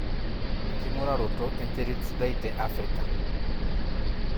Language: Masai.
enking'uraroto enterit sidai te Africa.